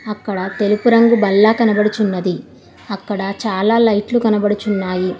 అక్కడ తెలుపు రంగు బల్ల కనబడుచున్నది అక్కడ చాలా లైట్లు కనబడుచున్నాయి.